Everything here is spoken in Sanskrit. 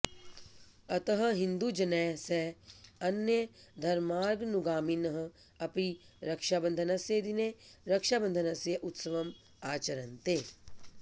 अतः हिन्दुजनैः सह अन्यधर्मानुगामिनः अपि रक्षाबन्धनस्य दिने रक्षाबन्धनस्य उत्सवम् आचरन्ते